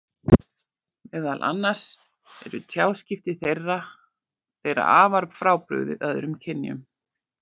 Meðal annars eru tjáskipti þeirra þeirra afar frábrugðin öðrum kynjum.